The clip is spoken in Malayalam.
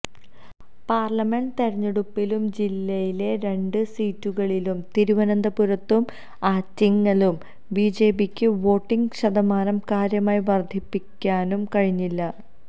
പാര്ലമെന്റ് തെരഞ്ഞെടുപ്പിലും ജില്ലയിലെ രണ്ട് സീറ്റുകളിലും തിരുവനന്തപുരത്തും ആറ്റിങ്ങലും ബിജെപിക്ക് വോട്ടിംഗ് ശതമാനം കാര്യമായി വര്ധിപ്പിക്കാനും കഴിഞ്ഞു